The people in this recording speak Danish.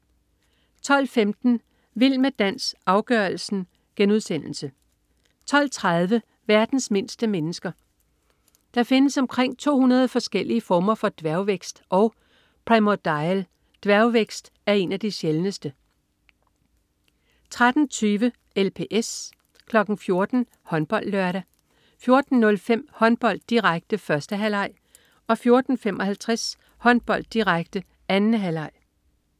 12.15 Vild med dans, afgørelsen* 12.30 Verdens mindste mennesker. Der findes omkring 200 forskellige former for dværgvækst, og "primordial" dværgvækst er en af de sjældneste 13.20 LPS 14.00 HåndboldLørdag 14.05 Håndbold, direkte. 1. halvleg 14.55 Håndbold, direkte. 2. halvleg